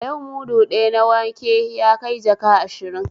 A yau mudu ɗaya na wanke yakai jaka ashirin